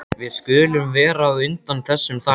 Við skulum vera á undan þessum þarna.